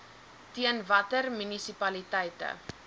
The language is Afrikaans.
teen watter munisipaliteite